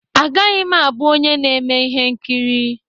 Agaghị m abụ onye na-eme ihe nkiri.